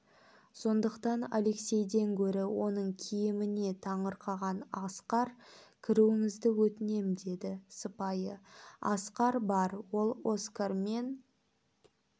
сондықтан алексейден гөрі оның киіміне таңырқаған асқар кіруіңізді өтінем деді сыпайы асқар бар ол оскар мен